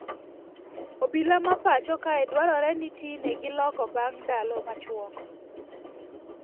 Obila ma pacho kae dwarore ni tine gi loko bang ndalo machuok